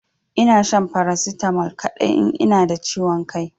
Ina shan paracetamol kadai in ina da ciwon Kai.